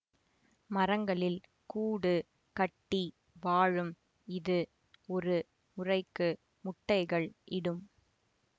மரங்களில் கூடு கட்டி வாழும் இது ஒரு முறைக்கு முட்டைகள் இடும்